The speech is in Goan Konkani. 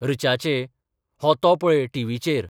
'ऋचाः 'च्ये, हो तो पळय टीव्हीचेर.